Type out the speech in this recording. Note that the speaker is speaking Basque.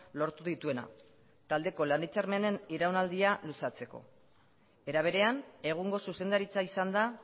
lortu dituena taldeko lan hitzarmenen iraunaldia luzatzeko era berean egungo zuzendaritza izan da